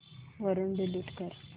वरून डिलीट कर